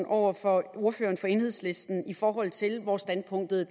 over for ordføreren fra enhedslisten i forhold til hvor standpunktet er